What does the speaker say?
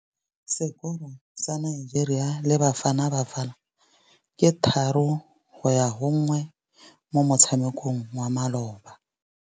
Sekôrô sa Nigeria le Bafanabafana ke 3-1 mo motshamekong wa malôba.